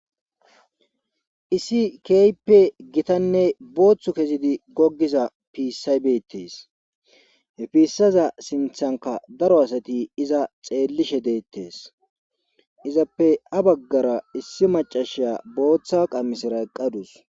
Issi keyppe gitanne booththu kezidi goggiza piisaybeettes hefissaza sinthanka daro asati iza xeellishe deettes izappe a baggara issi macashiya booththa qamisira qadus.